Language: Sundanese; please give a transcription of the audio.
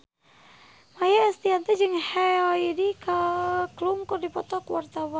Maia Estianty jeung Heidi Klum keur dipoto ku wartawan